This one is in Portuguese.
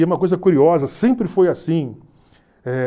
E uma coisa curiosa, sempre foi assim. Eh